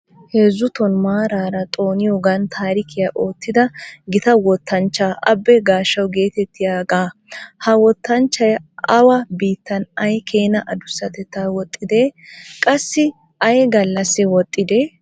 Heezzuton maarara xooniyagan taarikkiyaa oottida gita wottanchcha Abe Gashaw getettiyaaga, ha wottanchchay awa biittan ay keena addussatetta woxxide? Qassi ay gallassi woxxide?